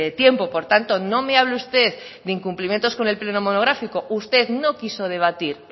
tiempo por tanto no me hable usted de incumplimientos con el pleno monográfico usted no quiso debatir